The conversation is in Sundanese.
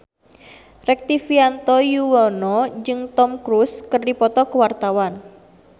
Rektivianto Yoewono jeung Tom Cruise keur dipoto ku wartawan